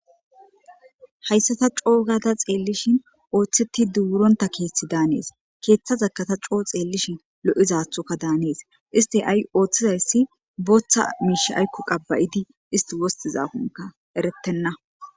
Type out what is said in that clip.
Hayssata coo gata xeellishin ooththetti duuronta keeththi daanees keeththa zakata coo xeellishin lo7izaathoka daanees isti ay ooththizayssi booththa miish aykku qabba7idi isti wostizakonka eretenna.